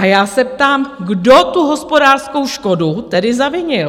A já se ptám, kdo tu hospodářskou škodu tedy zavinil?